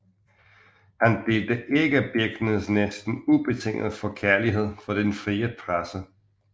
Han delte ikke Birckners næsten ubetingede forkærlighed for den frie presse